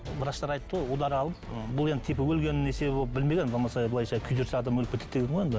врачтар айтты ғой удар алып м бұл енді типа өлген білмеген болмаса былайша күйдірсе адам өліп кетеді деген ғой енді